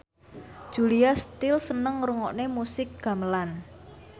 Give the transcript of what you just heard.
Julia Stiles seneng ngrungokne musik gamelan